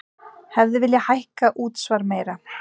Hefði viljað hækka útsvar meira